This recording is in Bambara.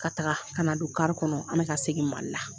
Ka taga ka na don kari kɔnɔ , an bɛ ka segin Mali la.